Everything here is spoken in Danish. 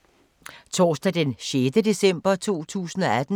Torsdag d. 6. december 2018